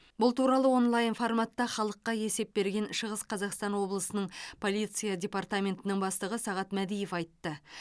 бұл туралы онлайн форматта халыққа есеп берген шығыс қазақстан облысының полиция департаментінің бастығы сағат мәдиев айтты